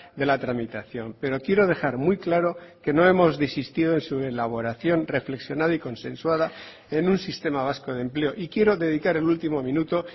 de la tramitación pero quiero dejar muy claro que no hemos desistido en su elaboración reflexionada y consensuada en un sistema vasco de empleo y quiero dedicar el último minuto